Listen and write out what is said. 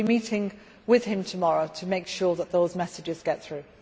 We will be meeting with him tomorrow to make sure that those messages get through.